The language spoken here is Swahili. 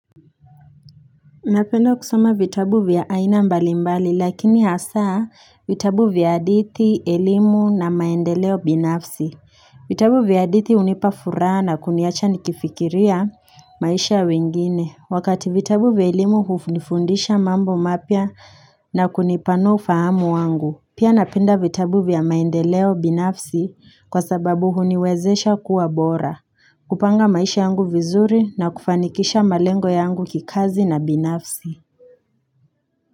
Napenda kusoma vitabu vya aina mbali mbali lakini hasa vitabu vya hadithi elimu na maendeleo binafsi vitabu vya hadithi hunipa furaha na kuniacha nikifikiria maisha ya wengine Wakati vitabu vya elimu hunifundisha mambo mapya na kunipanua ufahamu wangu Pia napenda vitabu vya maendeleo binafsi kwa sababu huniwezesha kuwa bora kupanga maisha yangu vizuri na kufanikisha malengo yangu kikazi na binafsi.